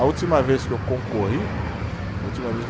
A última vez que eu concorri, última vez que